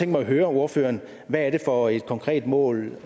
mig høre ordføreren hvad er det for et konkret mål